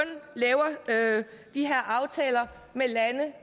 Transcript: laver de her aftaler med lande